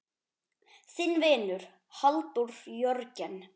Þinn vinur, Halldór Jörgen.